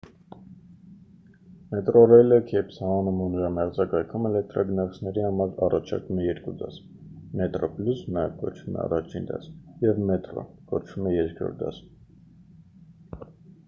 մետրոռեյլը քեյփթաունում ու նրա մերձակայքում էլեկտրագնացքների համար առաջարկում է երկու դաս՝ մետրոպլյուս նաև կոչվում է առաջին դաս և մետրո կոչվում է երրորդ դաս։